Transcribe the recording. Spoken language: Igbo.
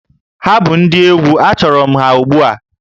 Ha bụ ndị egwu, achọrọ m ha ugbu a!